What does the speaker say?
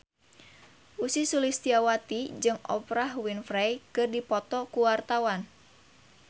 Ussy Sulistyawati jeung Oprah Winfrey keur dipoto ku wartawan